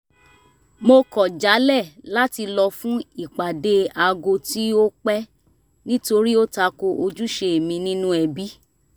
mo kọ̀ jálẹ̀ láti lọ fún ìpàdé aago tí ó pẹ́ nítorí ó ta ko ojúṣe mi nínú ẹbí